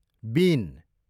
बिन